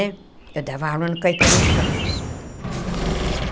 Eu dava aula no Caetano de Campos.